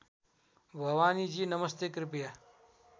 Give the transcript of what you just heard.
भवानीजी नमस्ते कृपया